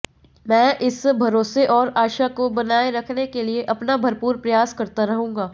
मैं इस भरोसे और आशा को बनाए रखने के लिए अपना भरपूर प्रयास करता रहूंगा